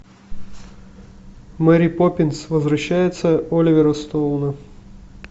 мэри поппинс возвращается оливера стоуна